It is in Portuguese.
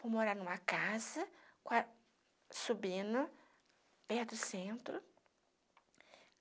Fui morar em uma casa, subindo, perto do centro.